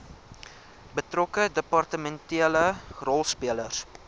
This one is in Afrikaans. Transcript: betrokke departementele rolspelers